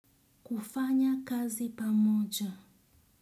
Kufanya kazi pamoja.